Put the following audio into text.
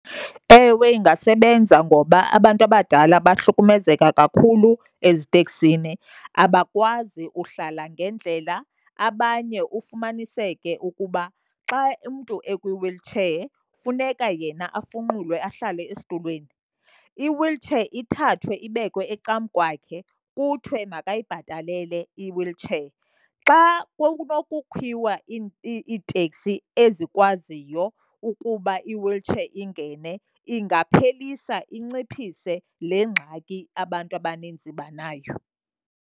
Ewe, ingasebenza ngoba abantu abadala bahlukumezeka kakhulu eziteksini. Abakwazi uhlala ngendlela, abanye ufumaniseke ukuba xa umntu ekwi-wheelchair funeka yena afunqulwe ahlale esitulweni, i-wheelchair ithathwe ibekwe ecam'kwakhe, kuthiwe makayibhatalele i-wheelchair. Xa kwakunokukhiwa iiteksi ezikwaziyo ukuba i-wheelchair ingene ingaphelisa inciphise le ngxaki abantu abaninzi banayo.